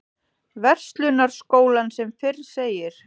Verslunarskólann sem fyrr segir.